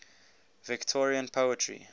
victorian poetry